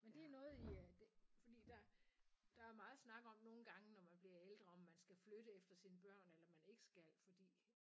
Men det noget I det fordi der der er meget snak om nogle gange når man bliver ældre om skal flytte efter sine børn eller man ikke skal fordi